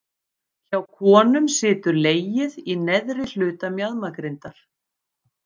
Hjá konum situr legið í neðri hluta mjaðmagrindar.